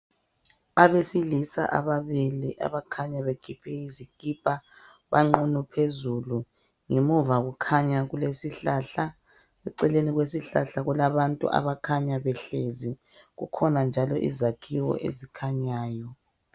Abesilisa ababili abakhanya bekhiphe izikipa ,banqunu phezulu. Ngemuva kukhanya kulesihlahla. Eceleni kwesihlahla kulabantu abakhanya behlezi. Kukhona njalo izakhiwo ezikhanyayo.